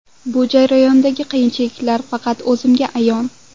Bu jarayondagi qiyinchiliklar faqat o‘zimga ayon.